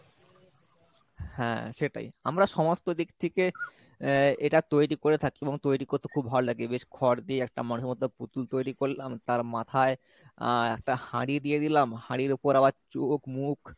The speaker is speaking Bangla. হ্যাঁ সেটাই আমরা সমস্ত দিক থেকে আহ এটা তৈরী করে থাকি বা তৈরী করতে খুব ভালো লাগে বেশ খর দিয়ে একটা মানুষের মতো পুতুল তৈরী করলাম তার মাথায় আহ একটা হাড়ি দিয়ে দিলাম হাড়ির উপর আবার চোখ মুখ